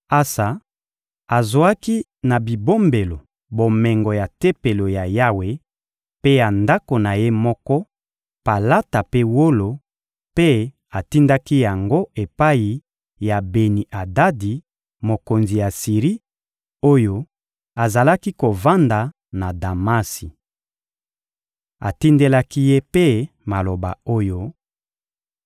Asa azwaki na bibombelo bomengo ya Tempelo ya Yawe mpe ya ndako na ye moko palata mpe wolo, mpe atindaki yango epai ya Beni-Adadi, mokonzi ya Siri, oyo azalaki kovanda na Damasi. Atindelaki ye mpe maloba oyo: